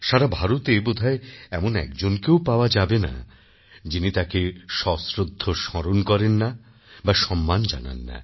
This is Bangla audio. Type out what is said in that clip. সারা ভারতে বোধহয় এমন একজনকেও পাওয়া যাবে না যিনি তাঁকে সশ্রদ্ধ স্মরণ করেন না বা সম্মান জানান না